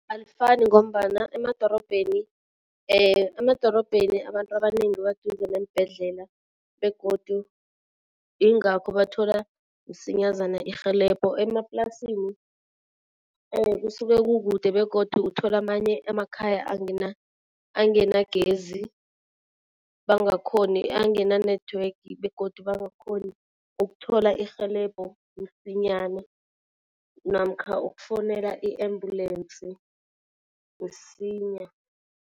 Alifani ngombana emadorobheni emadorobheni abantu abanengi baduze neembhedlela begodu ingakho bathola msinyazana irhelebho. Emaplasini kusuke kukude begodu uthola amanye amakhaya anganagezi bangakhoni angana-network begodu bangakhoni ukuthola irhelebho msinyana namkha ukufowunela i-ambulensi msinya.